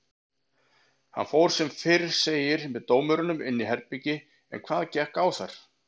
Hann fór sem fyrr segir með dómurunum inn í herbergi en hvað gekk á þar?